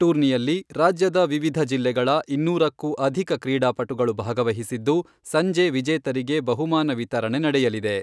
ಟೂರ್ನಿಯಲ್ಲಿ ರಾಜ್ಯದ ವಿವಿಧ ಜಿಲ್ಲೆಗಳ ಇನ್ನೂರಕ್ಕೂ ಅಧಿಕ ಕ್ರೀಡಾಪಟುಗಳು ಭಾಗವಹಿಸಿದ್ದು, ಸಂಜೆ ವಿಜೇತರಿಗೆ ಬಹುಮಾನ ವಿತರಣೆ ನಡೆಯಲಿದೆ.